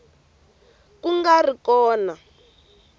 ka ku nga ri na